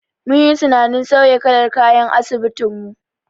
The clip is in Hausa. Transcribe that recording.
Mun yi tunanin sauya kalar kayan asibitin mu.